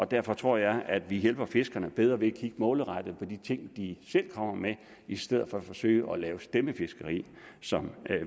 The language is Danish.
derfor tror jeg at vi bedre kan hjælpe fiskerne ved at kigge målrettet på de ting de selv kommer med i stedet for at forsøge på at lave stemmefiskeri som